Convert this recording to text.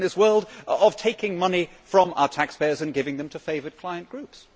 We are still in this world of taking money from our taxpayers and giving them to favoured client groups.